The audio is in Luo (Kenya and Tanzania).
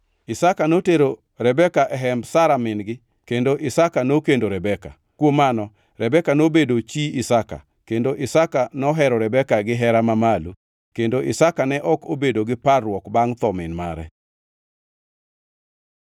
Isaka notero Rebeka e hemb Sara min-gi, kendo Isaka nokendo Rebeka. Kuom mano Rebeka nobedo chi Isaka, kendo Isaka nohero Rebeka gihera mamalo; kendo Isaka ne ok obedo gi parruok bangʼ tho min mare.